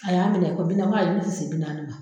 A y'a minɛ ko bi na n ko ayi n ko n tɛ se bi naani ma.